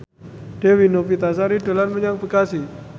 Dewi Novitasari dolan menyang Bekasi